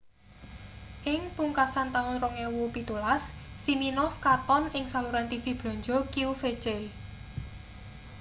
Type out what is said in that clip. ing pungkasan taun 2017 siminoff katon ing saluran tv blanja qvc